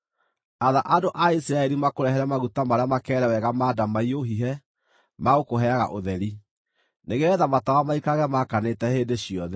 “Atha andũ a Isiraeli makũrehere maguta marĩa makeere wega ma ndamaiyũ hihe ma gũkũheaga ũtheri, nĩgeetha matawa maikarage maakanĩte hĩndĩ ciothe.